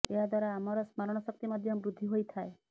ଏହା ଦ୍ୱାରା ଆମର ସ୍ମରଣ ଶକ୍ତି ମଧ୍ୟ ବୃଦ୍ଧି ହୋଇଥାଏ